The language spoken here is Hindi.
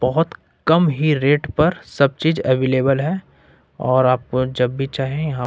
बहोत कम ही रेट पर सब चीज अवेलेबल है और आपको जब भी चाहे--